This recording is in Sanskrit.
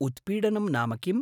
उत्पीडनं नाम किम्?